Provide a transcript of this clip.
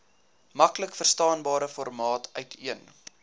maklikverstaanbare formaat uiteen